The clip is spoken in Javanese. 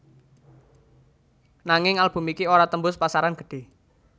Nanging album iki ora tembus pasaran gedhe